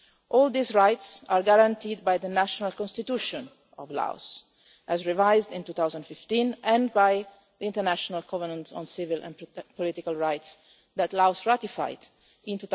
All these rights are guaranteed by the National Constitution of Laos, as revised in 2015, and by the International Covenant on Civil and Political Rights, Laos ratified in